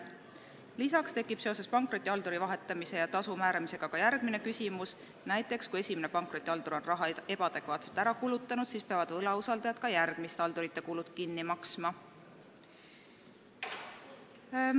Lisaks tekib seoses pankrotihalduri vahetamise ja tasu määramisega ka järgmine küsimus, näiteks kui esimene pankrotihaldur on raha ebaadekvaatselt ära kulutanud, siis peavad võlausaldajad ka järgmiste haldurite kulud kinni maksma.